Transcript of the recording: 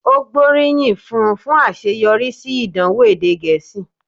Ó gbóríyìn fún un fún àṣeyọrí sí ìdánwò èdè Gẹ̀ẹ́sì